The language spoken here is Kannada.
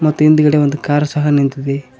ಮತ್ತೆ ಹಿಂದಗಡೆ ಒಂದು ಕಾರ್ ಸಹ ನಿಂತಿದೆ.